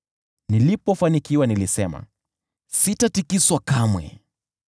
Nilipofanikiwa nilisema, “Sitatikiswa kamwe.”